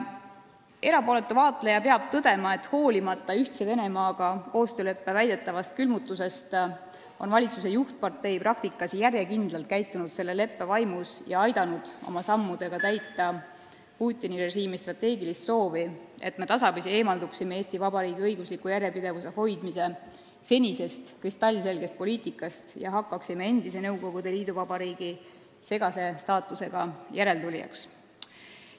Erapooletud vaatlejad peavad tõdema, et hoolimata Ühtse Venemaaga sõlmitud koostööleppe väidetavast külmutamisest on valitsuse juhtpartei praktikas järjekindlalt käitunud selle leppe vaimus ja aidanud oma sammudega täita Putini režiimi strateegilist soovi, et me tasapisi eemalduksime senisest Eesti Vabariigi õigusliku järjepidevuse hoidmise kristallselgest poliitikast ja hakkaksime endise Nõukogude liiduvabariigi segase staatusega järeltulijaks.